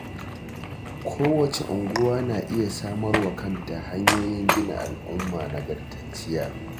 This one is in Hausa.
Kowace unguwa na iya samarwa kanta hanyoyin gina al'umma nagartacciya